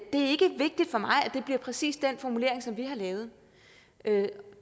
det bliver præcis den formulering som vi har lavet det